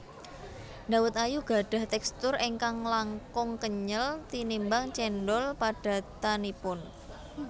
Dawet ayu gadhah tekstur ingkang langkung kenyel tinimbang cendhol padatanipun